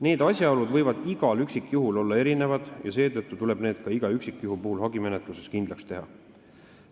Need asjaolud võivad igal üksikjuhul olla erinevad ja seetõttu tuleb need ka iga üksikjuhu puhul hagimenetluses kindlaks teha.